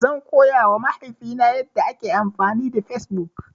Zan koya wa mahaifi na yanda ake amfani da Fesbuk